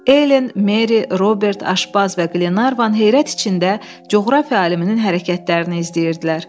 Helen, Meri, Robert, Aşbaz və Glevan heyrət içində coğrafiya aliminin hərəkətlərini izləyirdilər.